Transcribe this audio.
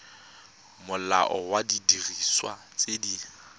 molao wa didiriswa tse di